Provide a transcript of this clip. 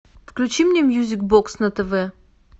включи мне мьюзик бокс на тв